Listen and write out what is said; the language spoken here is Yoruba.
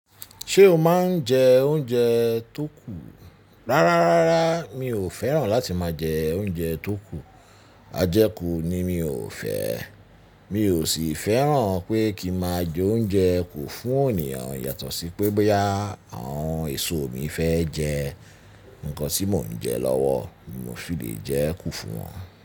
Ṣé o máa ń jẹ oúnjẹ tó kù? Rárá, rárá mi ò fẹ́ràn láti máa jẹ oúnjẹ tó kù. A jẹ kú ni mi ò fẹ́. Mi ò sì fẹ́ràn pé kí máa jẹ oúnjẹ kú fún ènìyàn yàtọ̀ sí pé boya àwọn èso mi fẹ́ jẹ, nǹkan tí mò ń jẹ lọ́wọ́ mo fi lè jẹ kú fún wọn.